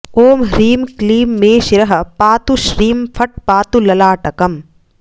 ॐ ह्रीं क्लीं मे शिरः पातु श्रीं फट् पातु ललाटकम्